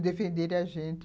defenderem a gente.